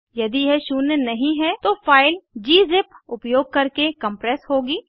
यदि यह शून्य नहीं है तो फाइल ग्जिप उपयोग करके कम्प्रेस होगी